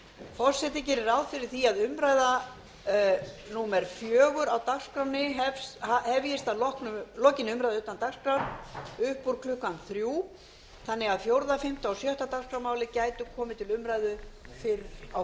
forseti gerir ráð fyrir því að mál númer fjögur á dagskrá hefjist að lokinni umræðu utan dagskrár upp úr klukkan fimmtán þannig að fimmta sjötta og sjöunda dagskrármálin gætu komið til umræðu